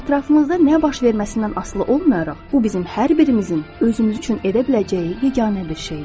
Ətrafımızda nə baş verməsindən asılı olmayaraq, bu bizim hər birimizin özümüz üçün edə biləcəyi yeganə bir şeydir.